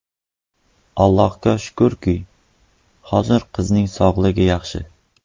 Allohga shukurki, hozir qizining sog‘ligi yaxshi.